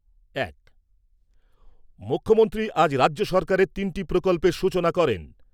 এক মুখ্যমন্ত্রী আজ রাজ্য সরকারের তিনটি প্রকল্পের সূচনা করেন।